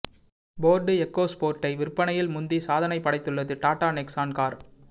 Ford Eco ஸ்போர்ட்டை விற்பனையில் முந்தி சாதனை படைத்துள்ளது டாடா நெக்ஸான் கார்